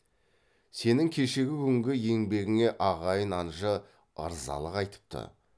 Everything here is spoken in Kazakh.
сенің кешегі күнгі еңбегіңе ағайын анжы ырзалық айтыпты